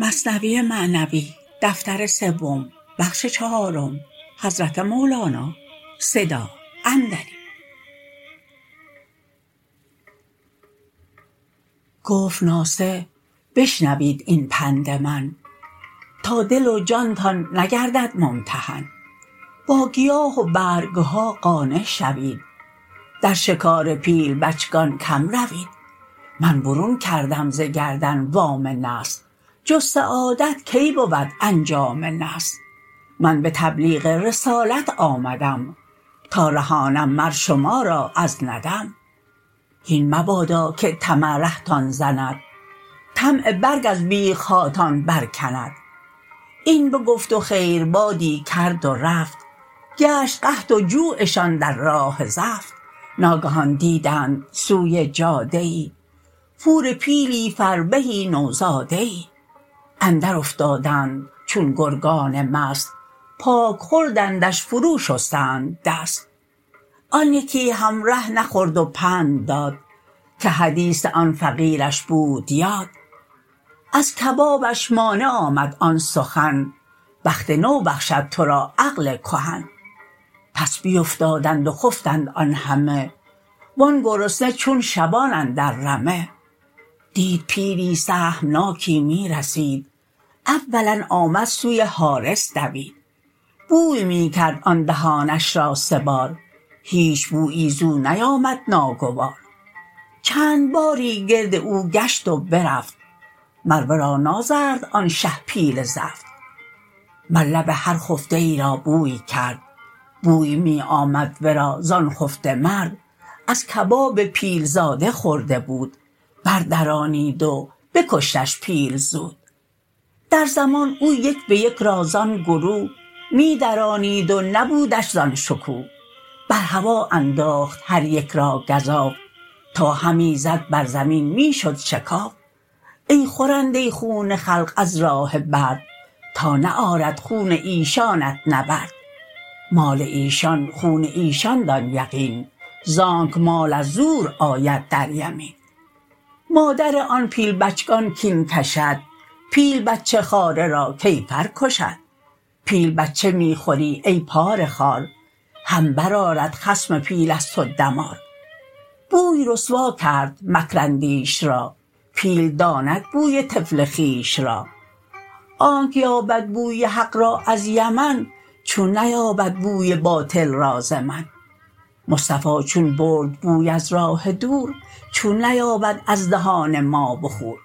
گفت ناصح بشنوید این پند من تا دل و جانتان نگردد ممتحن با گیاه و برگها قانع شوید در شکار پیل بچگان کم روید من برون کردم ز گردن وام نصح جز سعادت کی بود انجام نصح من به تبلیغ رسالت آمدم تا رهانم مر شما را از ندم هین مبادا که طمع رهتان زند طمع برگ از بیخهاتان بر کند این بگفت و خیربادی کرد و رفت گشت قحط و جوعشان در راه زفت ناگهان دیدند سوی جاده ای پور پیلی فربهی نو زاده ای اندر افتادند چون گرگان مست پاک خوردندش فرو شستند دست آن یکی همره نخورد و پند داد که حدیث آن فقیرش بود یاد از کبابش مانع آمد آن سخن بخت نو بخشد تو را عقل کهن پس بیفتادند و خفتند آن همه وان گرسنه چون شبان اندر رمه دید پیلی سهمناکی می رسید اولا آمد سوی حارس دوید بوی می کرد آن دهانش را سه بار هیچ بویی زو نیامد ناگوار چند باری گرد او گشت و برفت مر ورا نازرد آن شه پیل زفت مر لب هر خفته ای را بوی کرد بوی می آمد ورا زان خفته مرد از کباب پیل زاده خورده بود بر درانید و بکشتش پیل زود در زمان او یک به یک را زان گروه می درانید و نبودش زان شکوه بر هوا انداخت هر یک را گزاف تا همی زد بر زمین می شد شکاف ای خورنده خون خلق از راه برد تا نه آرد خون ایشانت نبرد مال ایشان خون ایشان دان یقین زانک مال از زور آید در یمین مادر آن پیل بچگان کین کشد پیل بچه خواره را کیفر کشد پیل بچه می خوری ای پاره خوار هم بر آرد خصم پیل از تو دمار بوی رسوا کرد مکر اندیش را پیل داند بوی طفل خویش را آنک یابد بوی حق را از یمن چون نیابد بوی باطل را ز من مصطفی چون برد بوی از راه دور چون نیابد از دهان ما بخور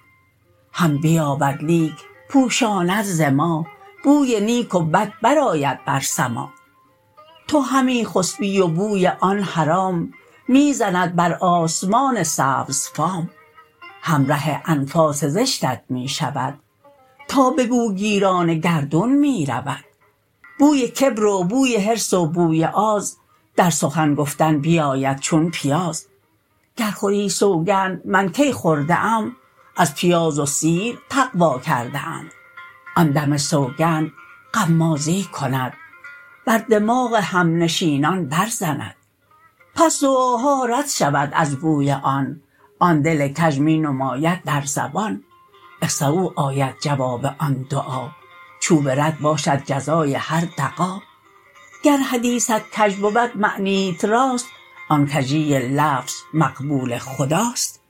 هم بیابد لیک پوشاند ز ما بوی نیک و بد بر آید بر سما تو همی خسپی و بوی آن حرام می زند بر آسمان سبزفام همره انفاس زشتت می شود تا به بوگیران گردون می رود بوی کبر و بوی حرص و بوی آز در سخن گفتن بیاید چون پیاز گر خوری سوگند من کی خورده ام از پیاز و سیر تقوی کرده ام آن دم سوگند غمازی کند بر دماغ همنشینان بر زند پس دعاها رد شود از بوی آن آن دل کژ می نماید در زبان اخسؤا آید جواب آن دعا چوب رد باشد جزای هر دغا گر حدیثت کژ بود معنیت راست آن کژی لفظ مقبول خداست